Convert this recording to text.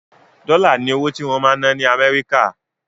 Dọ́là ni owó tí wọ́n ń ná ní Amẹ́ríkà.